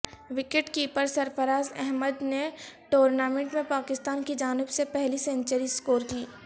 wicket keeper Sarfaraz Ahmed نے tournament میں پاکستان کی جانب سے پہلی سنچری سکور کی